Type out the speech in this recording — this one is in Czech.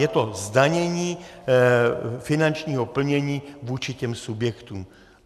Je to zdanění finančního plnění vůči těm subjektům.